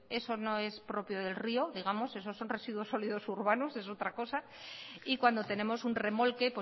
eso no es propio del río digamos esos son residuos sólidos urbanos es otra cosa y cuando tenemos un remolque